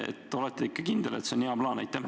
Kas olete ikka kindel, et see on hea plaan?